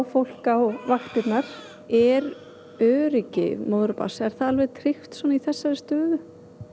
fólk á vaktina er öryggi móður og barns alveg tryggt í þessari stöðu